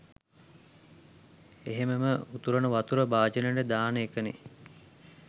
එහෙමම උතුරන වතුර භාජනෙට දාන එකනේ.